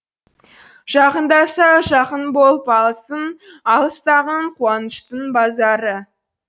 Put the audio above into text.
жақындаса жақын болып алысың алыстағың қуаныштың базары